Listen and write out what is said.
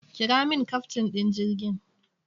Kira min kyaftin ɗin jirgin!